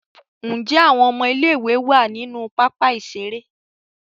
Njé Àwọn ọmọ ilé ìwé wá nínú pápá ìṣeré.?